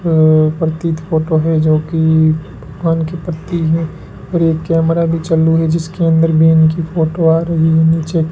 अह प्रतीत फोटो है जो कि भगवान के प्रती है और एक कैमरा भी चालू है जिसके अंदर में इनकी फोटो आ रही है नीचे --